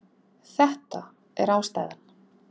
Þetta er ástæðan